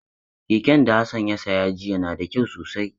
Keken da Hassan ya saya jiya na da kyau sosai.